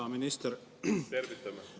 Hea minister!